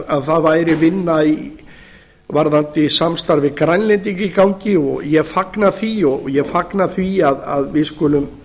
að það væri vinna varðandi samstarf við grænlendinga í gangi og ég fagna því og ég fagna því að við skulum